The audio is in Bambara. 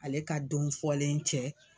Ale ka don fɔlen cɛ.